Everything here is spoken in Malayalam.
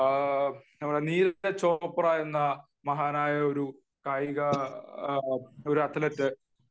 നമ്മുടെ നീരജ് ചോപ്ര എന്ന മഹാനായ ഒരു കായിക ഒരു അത്ലറ്റ്